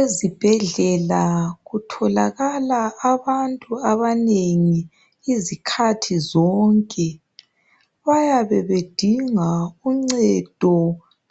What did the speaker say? Ezibhedlela kutholakala abantu abanengi izikhathi zonke. Bayabe bedinga uncedo